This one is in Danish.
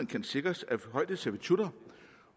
kan sikres af højdeservitutter